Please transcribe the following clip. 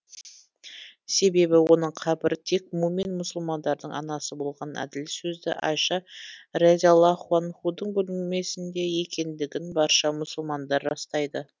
себебі оның қабірі тек мумин мұсылмандардың анасы болған әділ сөзді айша разиаллаһу анһудың бөлмесінде екендігін барша мұсылмандар растайды